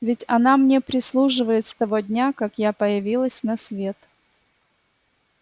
ведь она мне прислуживает с того дня как я появилась на свет